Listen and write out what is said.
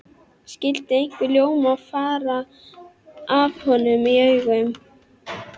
Skyldi einhver ljómi fara af honum í augum